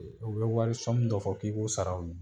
E o be wari sɔmu dɔ fɔ k'i k'o sara o ye